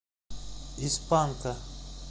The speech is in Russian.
из панка